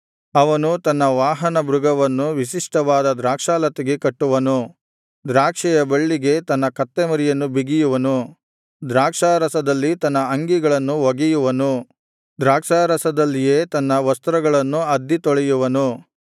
ಅವನು ತನ್ನ ವಾಹನ ಮೃಗವನ್ನು ವಿಶಿಷ್ಟವಾದ ದ್ರಾಕ್ಷಾಲತೆಗೆ ಕಟ್ಟುವನು ದ್ರಾಕ್ಷಿಯ ಬಳ್ಳಿಗೆ ತನ್ನ ಕತ್ತೆಮರಿಯನ್ನು ಬಿಗಿಯುವನು ದ್ರಾಕ್ಷಾರಸದಲ್ಲಿ ತನ್ನ ಅಂಗಿಗಳನ್ನು ಒಗೆಯುವನು ದ್ರಾಕ್ಷಾರಸದಲ್ಲಿಯೇ ತನ್ನ ವಸ್ತ್ರಗಳನ್ನು ಅದ್ದಿ ತೊಳೆಯುವನು